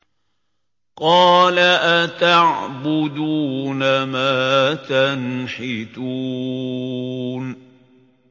قَالَ أَتَعْبُدُونَ مَا تَنْحِتُونَ